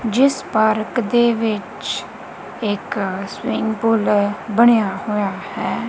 ਜਿਸ ਪਾਰਕ ਦੇ ਵਿੱਚ ਇੱਕ ਸਵੀਮਿੰਗ ਪੁਲ ਬਣਿਆ ਹੋਇਆ ਹੈ।